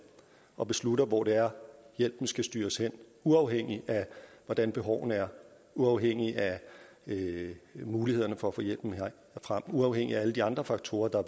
og beslutter hvor det er hjælpen skal styres hen uafhængigt af hvordan behovene er uafhængigt af mulighederne for at få hjælpen frem og uafhængigt af alle de andre faktorer der